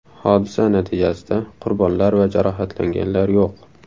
Hodisa natijasida qurbonlar va jarohatlanganlar yo‘q.